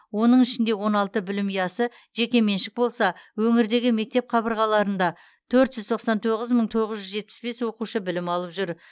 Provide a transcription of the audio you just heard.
оның ішінде он алты білім ұясы жекеменшік болса өңірдегі мектеп қабырғаларында төрт жүз тоқсан тоғыз мың тоғыз жүз жетпіс бес оқушы білім алып жүр